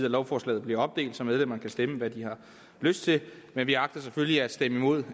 at lovforslaget bliver opdelt så medlemmerne kan stemme hvad de har lyst til men vi agter selvfølgelig at stemme imod